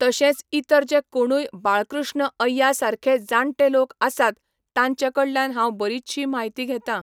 तशेंच इतर जे कोणूय बाळकृष्ण अय्या सारके जाण्टे लोक आसात तांचे कडल्यान हांव बरीचशी म्हायती घेता.